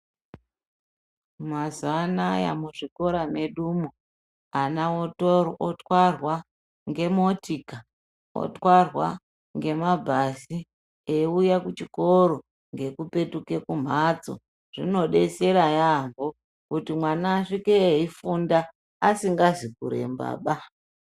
Mazuwa Anaya muzvikora mwedumo ana otwarwa ngemotika otwarwa ngemabhasi eiuya kuchikoro ngekupetuke kumhatso zvinodetsera yaampho kuti mwana asvike eifunda asingazi kurembaba.